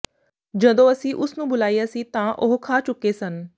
ਜਦੋਂ ਅਸੀਂ ਉਸ ਨੂੰ ਬੁਲਾਇਆ ਸੀ ਤਾਂ ਉਹ ਖਾ ਚੁੱਕੇ ਸਨ